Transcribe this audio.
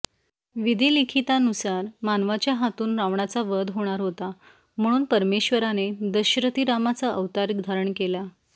विधीलिखीतानुसार मानवाच्या हातुन रावणाचा वध होणार होता म्हणुन परमेशाने दाशरथी रामाचा अवतार धारण केला